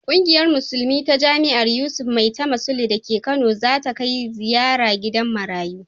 Kungiyar musulmai ta jami'ar Yusuf Maitama Sule da ke Kana za ta kai ziyara gidan marayu.